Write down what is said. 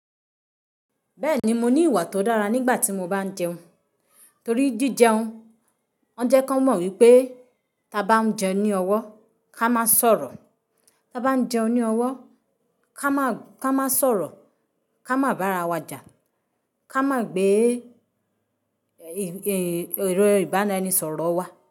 Bẹ́ẹ̀ni, mo ní ìwà tó dára nígbà tí mo bá ń jẹun. Torí jíjẹun, wọ́n jẹ́ kan mọ̀ wípé táa bá ń jẹun ní ọwọ́ ká má sọ̀rọ̀, táa bá ń jẹun ní ọwọ́ ká má sọ̀rọ̀, ká má bá ara wa jà, ká má gbé èrò ìbárenisọ̀rọ̀ wá.